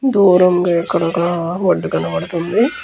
దూరంగా ఇక్కడ ఒక ఒడ్డు కనపడుతుంది.